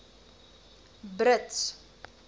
brits